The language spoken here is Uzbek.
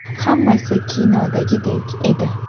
Hammasi kinodagidek edi.